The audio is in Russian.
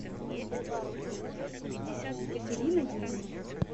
екатерина юдина